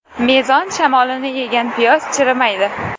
Mezon shamolini yegan piyoz chirimaydi.